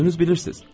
Özünüz bilirsiz.